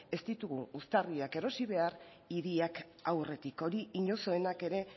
ez ditugu uztarriak erosi behar hiriak aurretik hori inozoenak ere